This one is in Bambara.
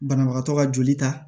Banabagatɔ ka joli ta